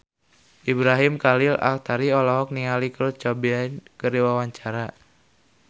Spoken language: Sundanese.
Ibrahim Khalil Alkatiri olohok ningali Kurt Cobain keur diwawancara